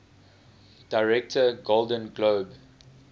director golden globe